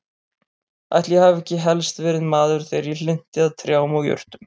Ætli ég hafi ekki helst verið maður þegar ég hlynnti að trjám og jurtum.